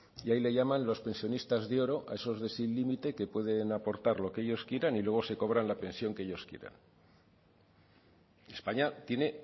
y ahí le llaman los pensionistas de oro a esos de sin límite que pueden aportar lo que ellos quieran y luego se cobran la pensión que ellos quieran españa tiene